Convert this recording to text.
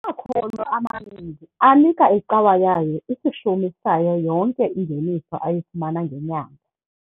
Amakholwa amaninzi anika icawa yawo isishumi sayo yonke ingeniso ayifumana ngenyanga.